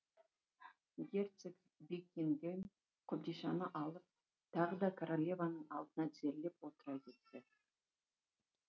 герцог бекингэм қобдишаны алып тағы да королеваның алдына тізерлеп отыра кетті